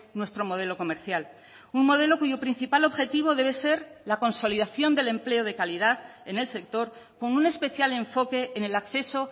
nuestro modelo comercial un modelo cuyo principal objetivo debe ser la consolidación del empleo de calidad en el sector con un especial enfoque en el acceso